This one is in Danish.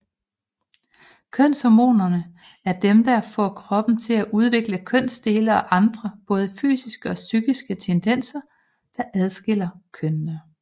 Kønshormonerne er dem der får kroppen til at udvikle kønsdele og andre både fysiske og psykiske tendenser der adskiller kønene